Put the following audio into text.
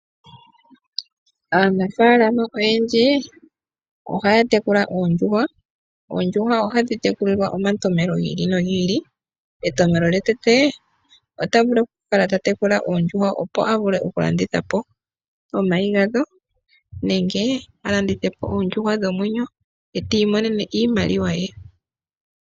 Aanafaalama oyendji ohaya tekula oondjuhwa. Oondjuhwa ohadhi tekulilwa omatompelo gi ili nogi ili. Etompelo yetupe, oto vulu okukala totekula oondjuhwa opo yavule okulanditha po omayi gadho nenge alandithe po oondjuhwa dhomwenyo e tiimonene iimaliwa ye.